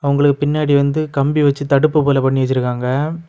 உங்களுக்கு பின்னாடை வந்து கம்பி வச்சு தடுப்பு போல பண்ணி வச்சிருக்காங்க.